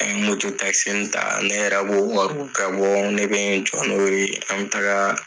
An ye moto takisi mun ta, ne yɛrɛ bɔ wariw ga bɔn ne bɛ n jɔ n'o ye an bɛ taaga